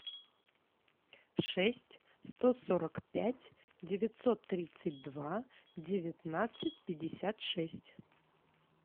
шесть сто сорок пять девятьсот тридцать два девятнадцать пятьдесят шесть